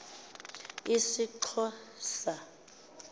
sixhosa